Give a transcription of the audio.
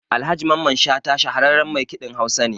Alhaji Mamman Shata shahararran maikiɗin Hausa ne.